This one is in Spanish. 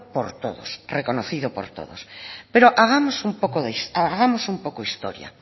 por todos reconocido por todos pero hagamos un poco historia